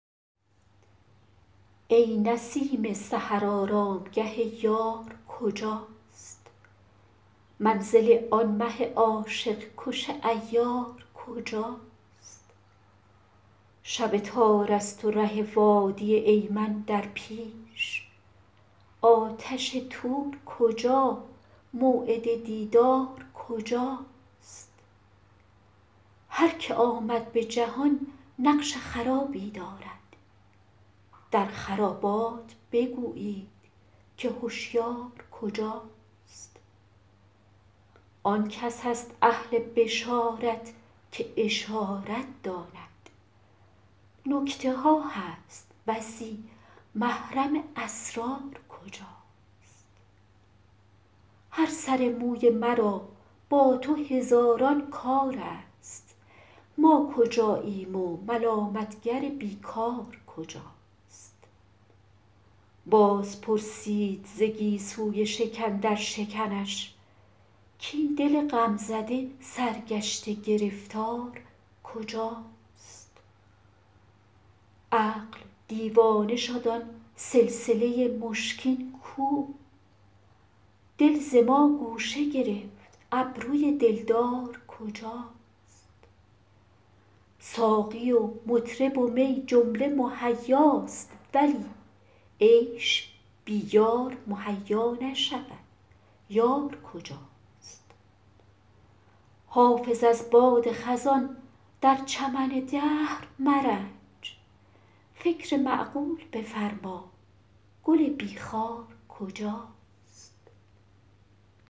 ای نسیم سحر آرامگه یار کجاست منزل آن مه عاشق کش عیار کجاست شب تار است و ره وادی ایمن در پیش آتش طور کجا موعد دیدار کجاست هر که آمد به جهان نقش خرابی دارد در خرابات بگویید که هشیار کجاست آن کس است اهل بشارت که اشارت داند نکته ها هست بسی محرم اسرار کجاست هر سر موی مرا با تو هزاران کار است ما کجاییم و ملامت گر بی کار کجاست باز پرسید ز گیسوی شکن در شکنش کاین دل غم زده سرگشته گرفتار کجاست عقل دیوانه شد آن سلسله مشکین کو دل ز ما گوشه گرفت ابروی دلدار کجاست ساقی و مطرب و می جمله مهیاست ولی عیش بی یار مهیا نشود یار کجاست حافظ از باد خزان در چمن دهر مرنج فکر معقول بفرما گل بی خار کجاست